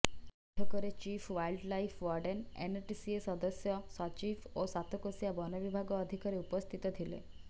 ବୈଠକରେ chief wildlife warden NTCA ସଦସ୍ୟ ସଚିବ ଓ ସାତକୋଶିଆ ବନବିଭାଗ ଅଧିକାରୀ ଉପସ୍ଥିତ ଥିଲେ